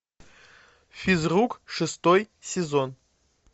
физрук шестой сезон